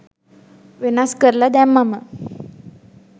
වෙනස් කරල දැම්මම